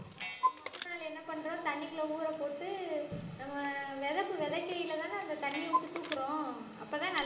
அது முத நாளு என்ன பண்றோம் தண்ணிக்குள்ள ஊறப்போட்டு நம்ம விதைப்பு விதைக்கையிலதானே அந்த தண்ணியை விட்டு தூக்கறோம் அப்பதான் நல்~